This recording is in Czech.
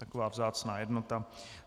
Taková vzácná jednota.